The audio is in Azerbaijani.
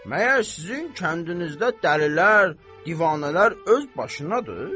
Məyər sizin kəndinizdə dəlilər, divanələr öz başınadır?